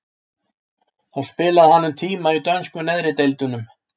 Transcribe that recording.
Þá spilaði hann um tíma í dönsku neðri deildunum.